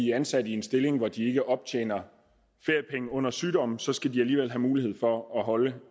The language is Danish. er ansat i en stilling hvor de ikke optjener feriepenge under sygdom så skal de alligevel have mulighed for at holde